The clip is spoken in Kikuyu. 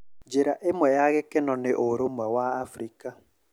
Njĩra ĩmwe ya gĩkeno nĩ 'urumwe wa Afrika'